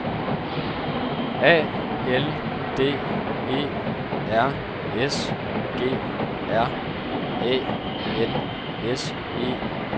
A L D E R S G R Æ N S E R